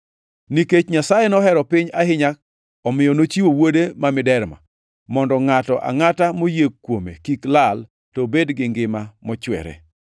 “Nikech Nyasaye nohero piny ahinya, omiyo nochiwo Wuode ma miderma, mondo ngʼato angʼata moyie kuome kik lal, to obed gi ngima mochwere.